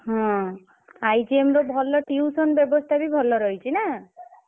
ହଁ IGM ର ଭଲ tuition ବ୍ୟବସ୍ଥା ବି ଭଲ ରହିଛି ନା?